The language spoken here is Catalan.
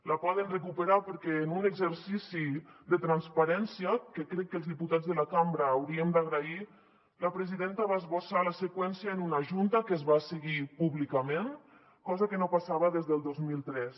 la poden recuperar perquè en un exercici de transparència que crec que els diputats de la cambra hauríem d’agrair la presidenta va esbossar la seqüència en una junta que es va seguir públicament cosa que no passava des del dos mil tres